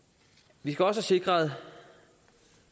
vi skal også have sikret